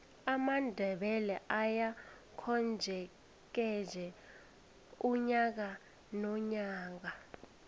amandebele ayakomjekeje unyaka nonyaka